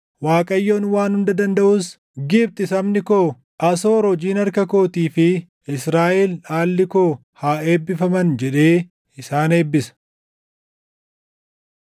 Waaqayyoon Waan Hunda Dandaʼus, “Gibxi sabni koo, Asoor hojiin harka kootii fi Israaʼel dhaalli koo haa eebbifaman” jedhee isaan eebbisa.